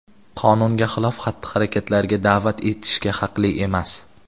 qonunga xilof xatti-harakatlarga daʼvat etishga haqli emas.